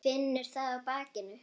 Finnur það á bakinu.